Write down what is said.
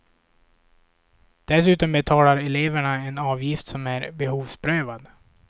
Dessutom betalar eleverna en avgift som är behovsprövad.